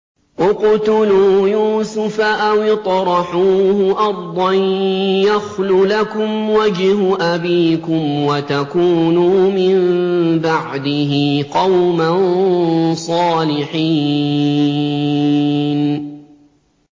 اقْتُلُوا يُوسُفَ أَوِ اطْرَحُوهُ أَرْضًا يَخْلُ لَكُمْ وَجْهُ أَبِيكُمْ وَتَكُونُوا مِن بَعْدِهِ قَوْمًا صَالِحِينَ